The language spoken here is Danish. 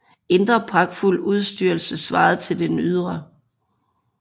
Indre pragtfuld udstyrelse svarede til den ydre